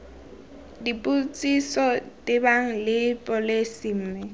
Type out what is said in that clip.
dipotsiso tebang le pholesi mme